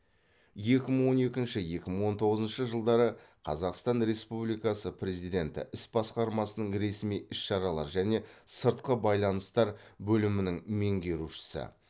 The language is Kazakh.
екі мың он екінші екі мың он тоғызыншы жылдары қазақстан республикасы президенті іс басқармасының ресми іс шаралар және сыртқы байланыстар бөлімінің меңгерушісі